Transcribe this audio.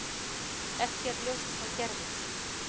Ekki er ljóst hvað gerðist.